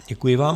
Děkuji vám.